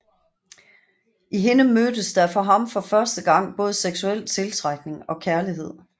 I hende mødtes der for ham for første gang både seksuel tiltrækning og kærlighed